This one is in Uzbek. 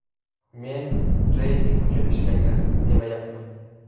Men reyting uchun ishlanglar, demayapman.